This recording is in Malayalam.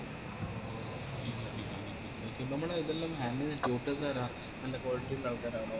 നമ്മളിതെല്ലാം handle ചെയ്യുന്ന tutor ആരാ നല്ല quality ഇള്ള ആൾക്കാരാണോ